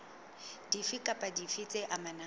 dife kapa dife tse amanang